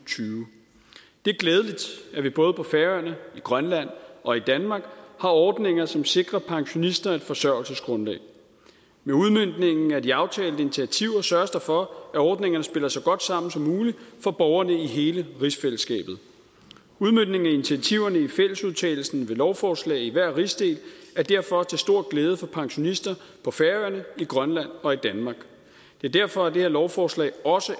tyve det er glædeligt at vi både på færøerne i grønland og i danmark har ordninger som sikrer pensionister et forsørgelsesgrundlag med udmøntningen af de aftalte initiativer sørges der for at ordningerne spiller så godt sammen som muligt for borgerne i hele rigsfællesskabet udmøntningen af initiativerne i fællesudtalelsen ved lovforslag i hver rigsdel er derfor til stor glæde for pensionister på færøerne i grønland og i danmark derfor er det her lovforslag også